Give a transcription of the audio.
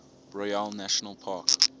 royale national park